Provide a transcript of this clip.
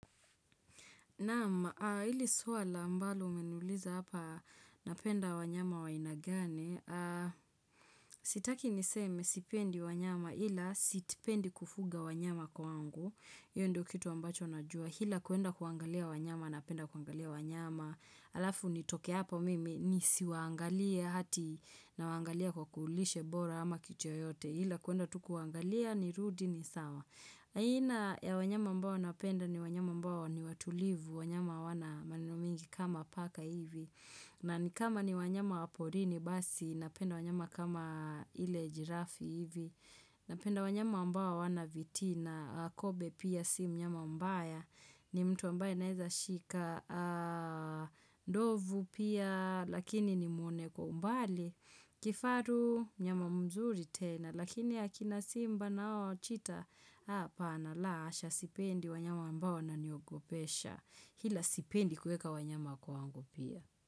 Naam, hili swala ambalo umeniuliza hapa napenda wanyama wa aina gani, sitaki niseme sipendi wanyama ila sipendi kufuga wanyama kwangu, hio ndio kitu ambacho najua, ila kuenda kuangalia wanyama, napenda kuangalia wanyama, alafu nitoke hapa mimi, nisiwaangalia ati nawaangalia kwa kuulishe bora ama kitu chochote, ila kuenda tu kuangalia ni rudi ni sawa. Aina ya wanyama ambao napenda ni wanyama ambao ni watulivu, wanyama hawana maneno mengi kama paka hivi, na nikama ni wanyama wa porini basi napenda wanyama kama ile jirafi hivi, napenda wanyama ambao wana vitina, kobe pia si mnyama mbaya, ni mtu ambaye naeza shika, ndovu pia lakini nimwone kwa umbali, kifaru mnyama mzuri tena, Lakini ya akina simba nao chita Hapana la asha sipendi wanyama ambao wananiogopesha ila sipendi kueka wanyama kwangu pia.